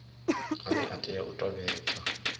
ane a tea u tevhedzwa